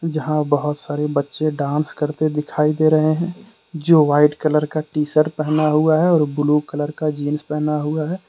जहां बहुत सारे बच्चे डांस करते दिखाई दे रहे हैं। जो वाइट कलर का टी सर्ट पहना हुआ है और एक ब्लू कलर का जींस पहना हुआ है।